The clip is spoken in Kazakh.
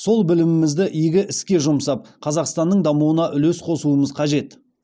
сол білімімізді игі іске жұмсап қазақстанның дамуына үлес қосуымыз қажет